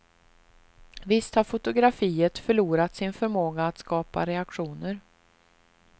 Visst har fotografiet förlorat sin förmåga att skapa reaktioner.